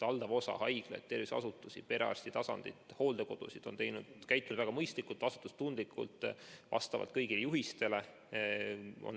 Valdav osa haiglaid ja muid terviseasutusi, perearsti tasand ja hooldekodud on tegutsenud väga mõistlikult, vastutustundlikult, vastavalt kõigile juhistele.